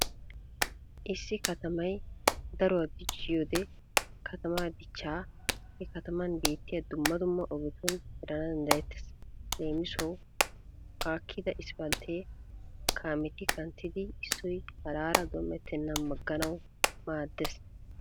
Issi katamay daruwa dicciyode katamaa dichchaa he kataman beettiya dumma dumma ogetun erana danddayettees. Leemisuwawu aakkida isppalttee kaameti kanttiiddi issoy haraara dom"ettennan agganawu maaddees.